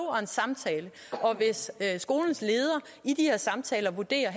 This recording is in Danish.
og en samtale og hvis skolens leder i de her samtaler vurderer at